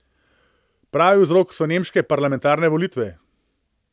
Pravi vzrok so nemške parlamentarne volitve.